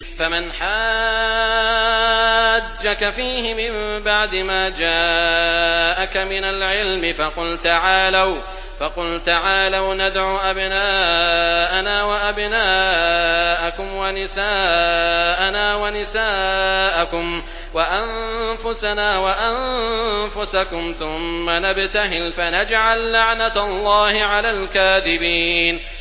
فَمَنْ حَاجَّكَ فِيهِ مِن بَعْدِ مَا جَاءَكَ مِنَ الْعِلْمِ فَقُلْ تَعَالَوْا نَدْعُ أَبْنَاءَنَا وَأَبْنَاءَكُمْ وَنِسَاءَنَا وَنِسَاءَكُمْ وَأَنفُسَنَا وَأَنفُسَكُمْ ثُمَّ نَبْتَهِلْ فَنَجْعَل لَّعْنَتَ اللَّهِ عَلَى الْكَاذِبِينَ